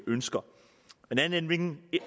ønsker